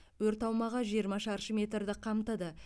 өрт аумағы жиырма шаршы метрді қамтыды